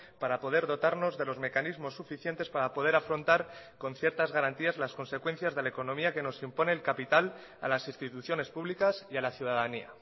para poder dotarnos de los mecanismos suficientes para poder afrontar con ciertas garantías las consecuencias de la economía que nos impone el capital a las instituciones públicas y a la ciudadanía